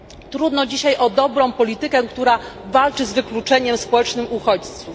Trudno dzisiaj o dobrą politykę, która walczy z wykluczeniem społecznym uchodźców.